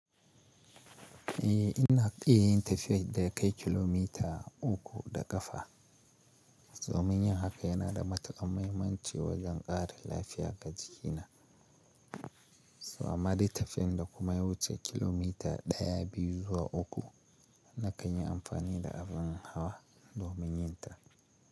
Eh ina tsaye yin tafiyar da ya kai kilomita uku da ƙafa so munyi haka yana da matuƙan mahimmanci wajen ƙara lafiya ga jikina. So amma dai tafiyan da kuma ya wuce kilomita ɗaya, biyu zuwa uku na kan yi amfani da abin hawa domin yin ta.